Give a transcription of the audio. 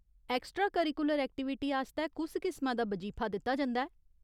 Extra curricular activity आस्तै कुस किसमा दा बजीफा दित्ता जंदा ऐ ?